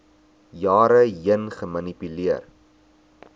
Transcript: jare heen gemanipuleer